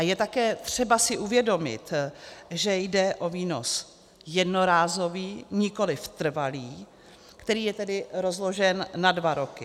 A je také třeba si uvědomit, že jde o výnos jednorázový, nikoliv trvalý, který je tedy rozložen na dva roky.